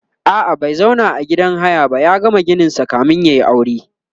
a'a bai zauna a gidan haya ba ya gama gininsa kamin yayi aure